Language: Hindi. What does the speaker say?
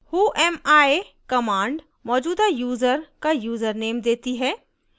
whoami command मौजूदा यूज़र का यूज़रनेम देती है